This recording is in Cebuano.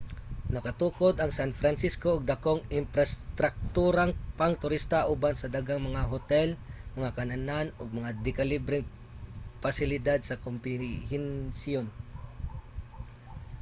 nakatukod ang san francisco og dakong imprastrakturang pangturista uban sa daghang mga hotel mga kan-anan ug mga dekalibreng pasilidad sa kombensiyon